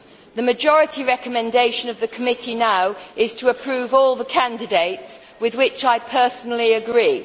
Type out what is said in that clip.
The majority recommendation of the committee now is to approve all the candidates, with which I personally agree.